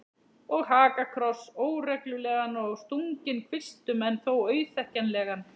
Og hakakross, óreglulegan og stunginn kvistum en þó auðþekkjanlegan.